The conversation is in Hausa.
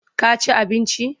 Ka ci abinci?